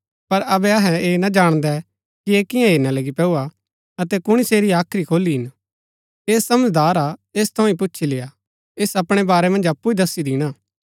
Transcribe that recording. पर अबै अहै ऐह ना जाणदै कि ऐह कियां हेरणा लगी पैंऊ हा अतै कुणी सेरी हाख्री खोली हिन ऐह समझदार हा ऐस थऊँ ही पुछी लेय्आ ऐस अपणै वारै मन्ज अप्पु ही दस्सी दिणा